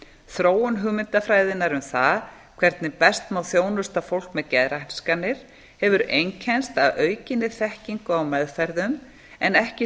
þróun hugmyndafræðinnar um það hvernig best má þjónusta fólk með geðraskanir hefur einkennst af aukinni þekkingu á meðferðum en ekki